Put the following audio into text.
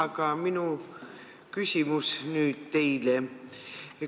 Aga nüüd minu küsimus teile.